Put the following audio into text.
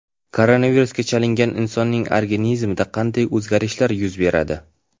Koronavirusga chalingan insonning organizmida qanday o‘zgarishlar yuz beradi?.